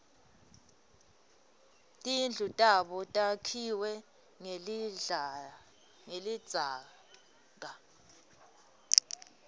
tindlu tabo takhiwe ngelidzaka